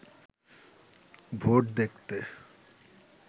vote দেখতে